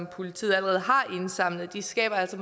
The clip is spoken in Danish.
politiet allerede har indsamlet de skaber altså